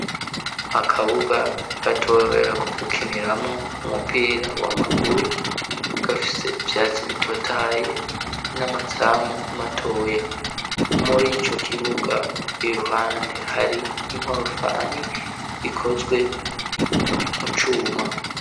Akabuga gatoya ko gukiniramwo umupira wa maguru gafise ivyatsi bitotaye n'amazamu matoya .Muri ico kibuga iruhande hari inkorofani ikozwe mu cuma.